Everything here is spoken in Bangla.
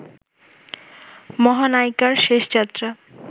মহানয়িকার শেষযাত্রা